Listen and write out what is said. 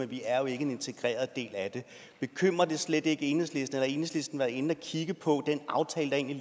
vi er jo ikke en integreret del af det bekymrer det slet ikke enhedslisten har enhedslisten egentlig været inde at kigge på den aftale